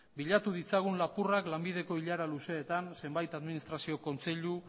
bila ditzagun lapurrak lanbideko ilara luzeetan zenbait administrazio kontseilu